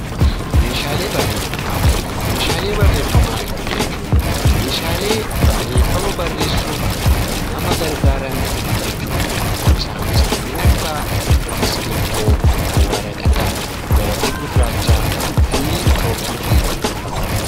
Meeshaalee barreeffamaa Meeshaalee barreeffamaa jechuun Meeshaalee barreeffama barreessuuf nama gargaaran jechuudha. Isaanis kanneen akka qalama, waraqata, gabatee gurraacha , chookii fi kanneen kana fakkaatan.